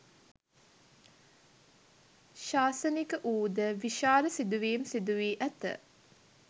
ශාසනික වූද, විශාල සිදුවීම් සිදුවී ඇත.